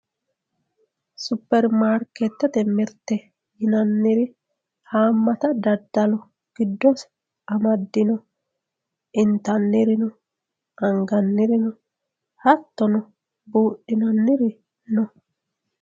superimaarkeetete mirte yinanniri haammata daddalo giddose amaddino intannirino angannirino hattono buudhinanniri no.